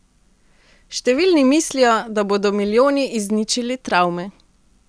Številni mislijo, da bodo milijoni izničili travme.